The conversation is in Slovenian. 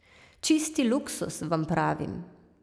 Čisti luksuz, vam pravim.